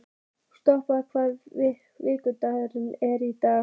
Sporði, hvaða vikudagur er í dag?